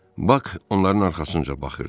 Bak onların arxasınca baxırdı.